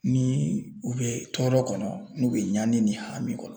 Ni u be tɔɔrɔ kɔnɔ n'u be ɲani ni hami kɔnɔ